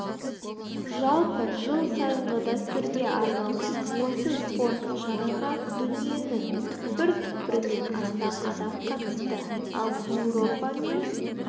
жалпы жыл сайынғы дәстүрге арналған осы спорттық шараға дүниенің түкпір-түкпірінен астам адам қатысты ал еуропа мен